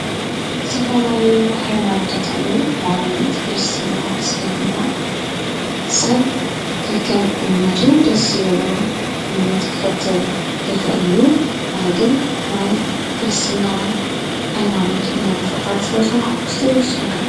ስተፋላለዩ ኃይማኖታትሉ ናብነት ክርስትና እስልምና ሰብ ከከም እምነቱ ደስበሎ እምነት ክኽብተል የኽእል እዩ ኣነግን ናይ ክርሥትና ኃይማኖት እምነት ተኽታል ስለ ሰንካክስተይ ዝሰንከ።